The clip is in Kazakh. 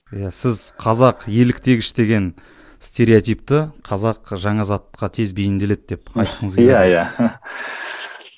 иә сіз қазақ еліктегіш деген стереотипті қазақ жаңа затқа тез бейімделеді деп айтқыңыз